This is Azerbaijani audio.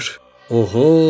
"Oho!